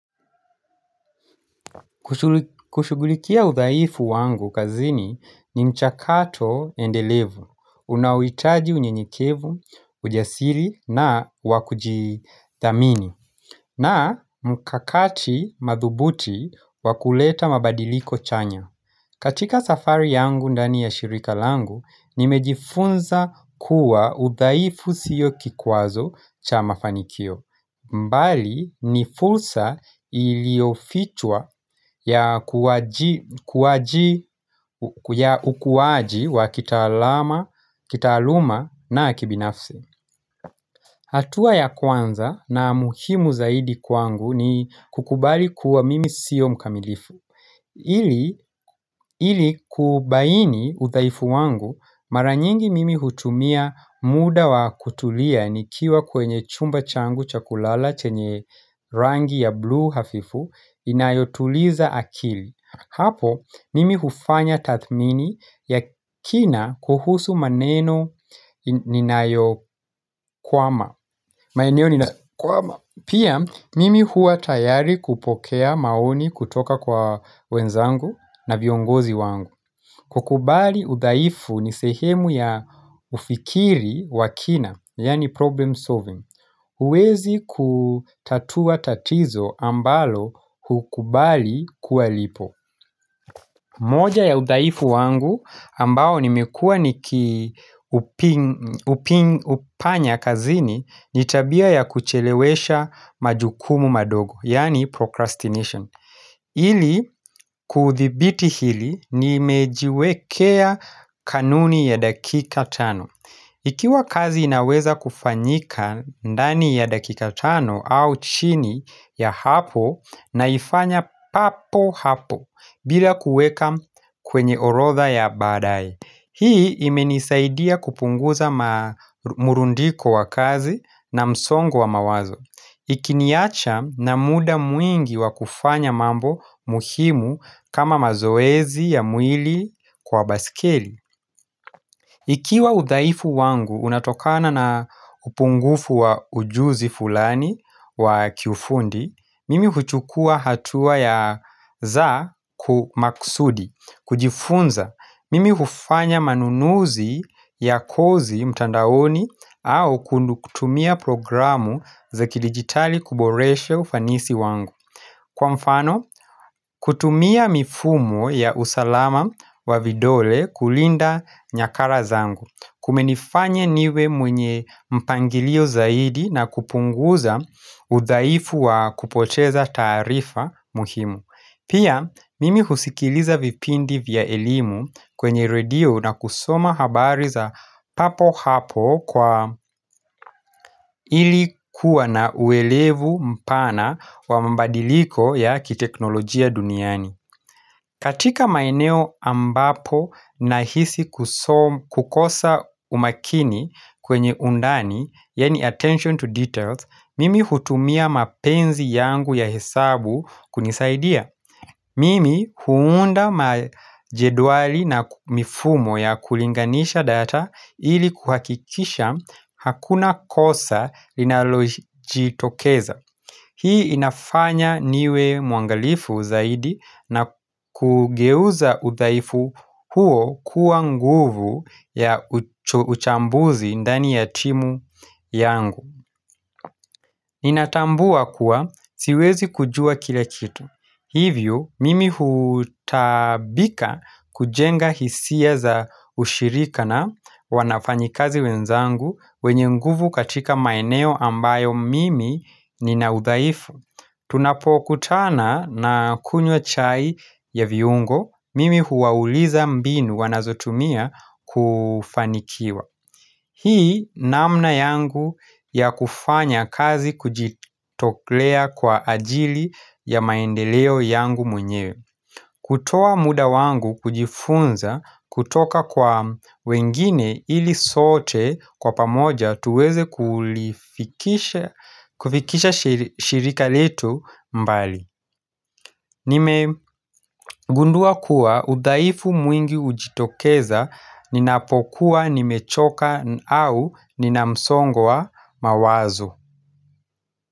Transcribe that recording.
Kushugulikia udhaifu wangu kazini ni mchakato endelevu, unaoitaji unyenyekevu, ujasili na wakujithamini na mkakati madhubuti wakuleta mabadiliko chanya. Katika safari yangu ndani ya shirika langu, nimejifunza kuwa uthaifu siyo kikwazo cha mafanikio. Mbali nifulsa iliofichwa ya ukuwaji wa kita alama, kita aluma na kibinafsi. Hatua ya kwanza na muhimu zaidi kwangu ni kukubali kuwa mimi siyo mkamilifu. Ili kubaini udhaifu wangu maranyingi mimi hutumia muda wa kutulia ni kiwa kwenye chumba changu chakulala chenye rangi ya blue hafifu inayotuliza akili. Hapo, mimi hufanya tathmini ya kina kuhusu maneno ninayo kwama. Pia, mimi huwa tayari kupokea maoni kutoka kwa wenzangu na viongozi wangu. Kukubali udhaifu ni sehemu ya ufikiri wakina, yaani problem solving. Uwezi kutatua tatizo ambalo hukubali kuwa lipo. Moja ya udhaifu wangu ambao nimekuwa niki upanya kazini, nitabia ya kuchelewesha majukumu madogo, yaani procrastination. Ili kuthibiti hili nimejiwekea kanuni ya dakika tano Ikiwa kazi inaweza kufanyika ndani ya dakika tano au chini ya hapo na ifanya papo hapo bila kueka kwenye orotha ya badaye Hii imenisaidia kupunguza murundiko wa kazi na msongo wa mawazo Ikiniacha na muda mwingi wa kufanya mambo muhimu kama mazoezi ya mwili kwa basikili Ikiwa udhaifu wangu unatokana na upungufu wa ujuzi fulani wa kiufundi Mimi huchukua hatua ya za kumaksudi, kujifunza Mimi hufanya manunuzi ya kozi mtandaoni au kutumia programu za ki digitali kuboresha ufanisi wangu Kwa mfano, kutumia mifumo ya usalama wa vidole kulinda nyakara zangu Kumenifanya niwe mwenye mpangilio zaidi na kupunguza udhaifu wa kupoteza taarifa muhimu Pia mimi husikiliza vipindi vya elimu kwenye radio na kusoma habari za papo hapo kwa ilikuwa na uelevu mpana wa mabadiliko ya kiteknolojia duniani. Katika maeneo ambapo na hisi kukosa umakini kwenye undani, yaani attention to details, mimi hutumia mapenzi yangu ya hesabu kunisaidia. Mimi huunda majeduali na mifumo ya kulinganisha data ili kuhakikisha hakuna kosa linaloji tokeza. Hii inafanya niwe muangalifu zaidi na kugeuza uthaifu huo kuwa nguvu ya uchambuzi ndani ya timu yangu. Ninatambua kuwa siwezi kujua kila kitu. Hivyo, mimi hutaabika kujenga hisia za ushirika na wanafanyi kazi wenzangu wenye nguvu katika maeneo ambayo mimi ninaudhaifu. Tunapokutana na kunywa chai ya viungo, mimi huwauliza mbinu wanazotumia kufanikiwa. Hii namna yangu ya kufanya kazi kujitoklea kwa ajili ya maendeleo yangu mwenye kutoa muda wangu kujifunza kutoka kwa wengine ili sote kwa pamoja tuweze kufikisha shirika letu mbali nime gundua kuwa udhaifu mwingi ujitokeza ninapokuwa nimechoka au ninamsongo wa mawazo.